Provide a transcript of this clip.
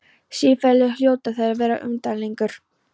Siðferðilega hljóta þær þó að vera umdeilanlegar.